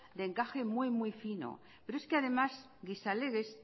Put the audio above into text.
de encaje muy muy fino pero es que además gizalegez